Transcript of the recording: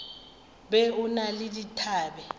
be o na le dithabe